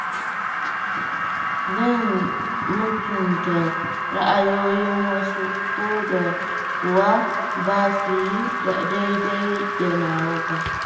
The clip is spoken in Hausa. Zan mutunta ra'ayoyin wasu, ko da kuwa ba su yi daidai da nawa ba.